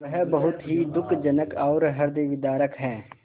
वह बहुत ही दुःखजनक और हृदयविदारक है